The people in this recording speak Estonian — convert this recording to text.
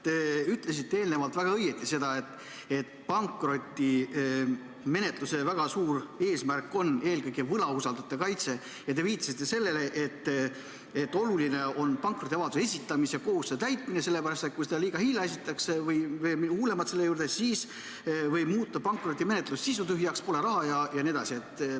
Te ütlesite eelnevalt väga õigesti seda, et pankrotimenetluse suur eesmärk on eelkõige võlausaldajate kaitse, ja viitasite sellele, et oluline on pankrotiavalduse esitamise kohustuse täitmine, sellepärast, et kui seda liiga hilja esitatakse või juhtub midagi veel hullemat, siis võib muutuda pankrotimenetlus sisutühjaks, pole raha jne.